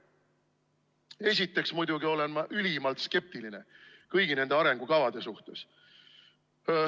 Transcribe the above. Ma olen muidugi ülimalt skeptiline kõigi nende arengukavade suhtes.